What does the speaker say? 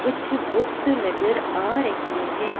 कुछ बुक्स नजर आ रहैं हैं।